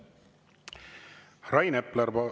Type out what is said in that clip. Rain Epler ...